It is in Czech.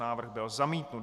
Návrh byl zamítnut.